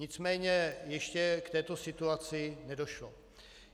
Nicméně ještě k této situaci nedošlo.